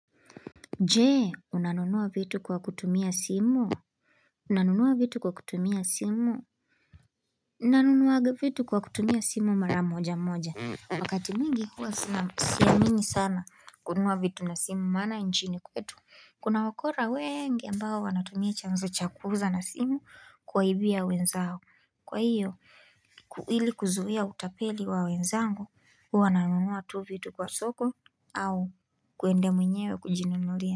Je, unanunua vitu kwa kutumia simu? Unanunua vitu kwa kutumia simu? Nanunuaga vitu kwa kutumia simu mara mojamoja. Wakati mwingi huwa siamini sana kununua vitu na simu maana nchini kwetu. Kuna wakora wengi ambao wanatumia chanzo cha kuuza na simu kuwaibia wenzao. Kwa hiyo, ili kuzuia utapeli wa wenzangu, huwa nanunua tu vitu kwa soko au kuende mwenyewe kujinunulia.